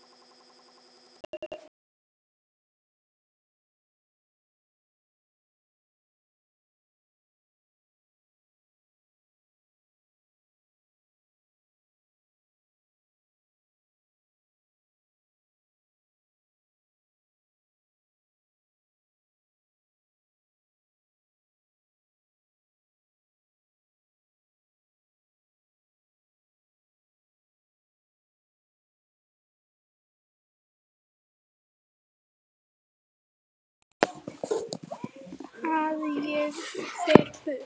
Að ég fer burt.